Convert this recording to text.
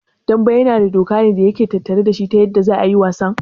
Dambe yana da doka ne da yake tattare dashi ta yanda za'a yi wasan?